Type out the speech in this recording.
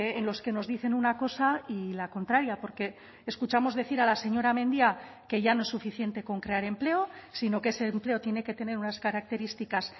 en los que nos dicen una cosa y la contraria porque escuchamos decir a la señora mendia que ya no es suficiente con crear empleo sino que ese empleo tiene que tener unas características